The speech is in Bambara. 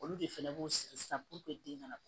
Olu de fɛnɛ b'u sigi sisan den kana